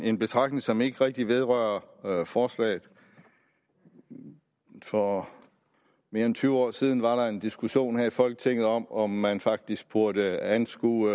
en betragtning som ikke rigtig vedrører forslaget for mere end tyve år siden var der en diskussion her i folketinget om om man faktisk burde anskue